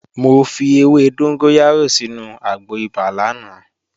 Mo fi ewé dóngóyárò sínu àgbo ibà lánàá